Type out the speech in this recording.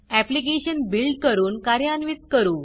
application build करून कार्यान्वित करू